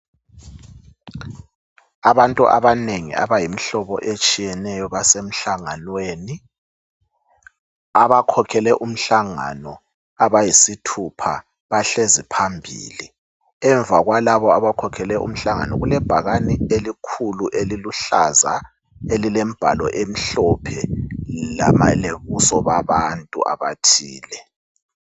abantu abanengi abayimhlobo etshiyeneyo basemhlanganweni abakhokhele umhlangano abayisithupha bahlezi phambili emva kwalabo abakhokhele umhlangano kulebhakane elikhulu eliluhlaza elilembhalo emhlophe lobuso babantu abathile